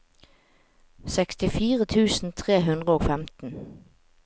sekstifire tusen tre hundre og femten